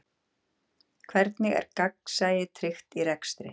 Hvernig er gegnsæi tryggt í rekstri?